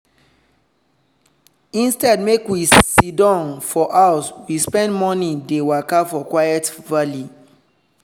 instead make we siddon for house we spend morning dey waka for quiet valley.